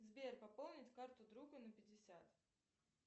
сбер пополнить карту друга на пятьдесят